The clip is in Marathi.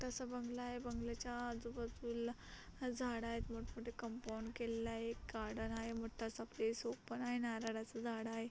मोठासा बंगला आहे बंगल्याच्या आजूबाजूला झाड आहेत. मोठ मोठे कंपाऊंड केलेल आहे गार्डन आहे मोठासा प्लेस ओपन आहे नारळाच झाड आहे.